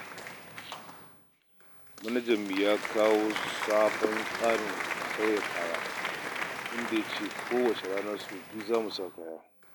Manajanmu ya kawo sabon tsarin saka kaya, inda ya ce kowace rana sau biyu za mu sauya kaya.